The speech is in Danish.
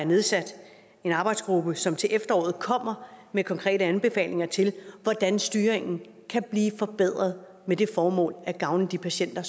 nedsat en arbejdsgruppe som til efteråret kommer med konkrete anbefalinger til hvordan styringen kan blive forbedret med det formål at gavne de patienter